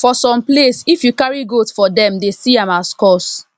for some place if you carry goat for dem dey see am as curse